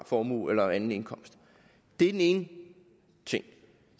formue eller anden indkomst det er den ene ting